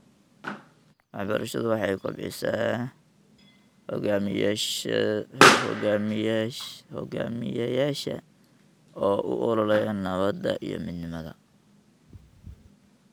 Waxbarashadu waxay kobcisaa hogaamiyayaasha u ololeeya nabadda iyo midnimada.